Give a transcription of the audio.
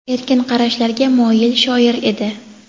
erkin qarashlarga moyil shoir edi.